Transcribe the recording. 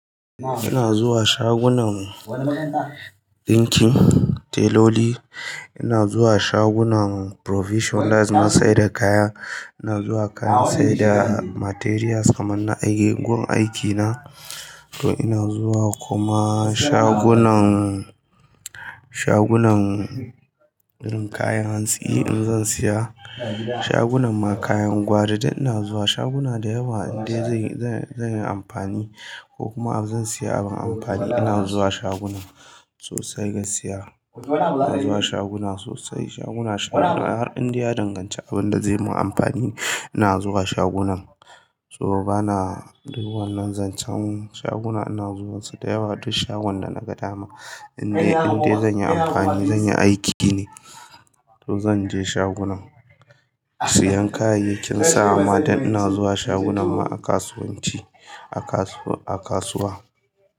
Ina zuwa shagunan dinkin teloli, ina zuwa shagunan provision daz na saida kaya, ina zuwa kant siyar da materials kaman na aikin, gun aikina. To ina zuwa kuma shagunan, shagunan irn kayan hantsi in zan siya, shagunan ma kayan gwari duk ina zuwa shaguna da yawa inda zan yi amfani ko kuma zan siya abin amfani ina zuwa shaguna sosai gaskiya ina zuwa shaguna sosai, shaguna har inda ya danganci abin da zai yi min amfani ina zuwa shagunan. To bana yiwuwar duk zan can shaguna ina zuwansu da yawa duk shagon da naga dama inda zan yi amfani, zan yi aiki ne to zan je shagonan. Siyan kayayyakin sawa ma duk ina zuwa shagunan ma a kasuwanci, a kasuwa.